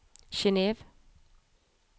Genève